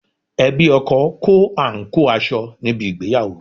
Ẹbí ọkọ kó àǹkóò aṣọ níbi ìgbéyàwó